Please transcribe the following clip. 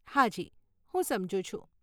હાજી, હું સમજુ છું.